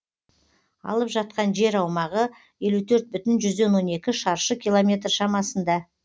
алып жатқан жер аумағы елу төрт бүтін жүзден он екі шаршы километр шамасында